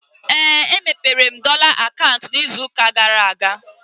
Éè, e mepere m dọla akaụntụ ịzụ ụka gara aga